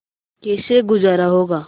कैसे गुजारा होगा